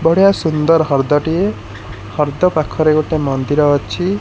ବଢ଼ିଆ ସୁନ୍ଦର ହର୍ଦ ଟିଏ ହର୍ଦ ପାଖରେ ଗୋଟେ ମନ୍ଦିର ଅଛି।